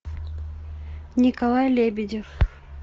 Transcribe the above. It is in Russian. николай лебедев